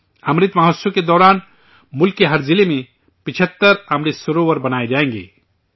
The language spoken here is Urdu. امرت مہوتسو کے دوران ملک کے ہر ضلع میں 75 امرت سروور بنائے جائیں گے